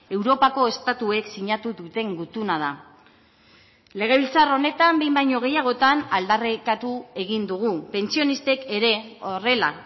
europako estatuek sinatu duten gutuna da legebiltzar honetan behin baino gehiagotan aldarrikatu egin dugu pentsionistek ere horrela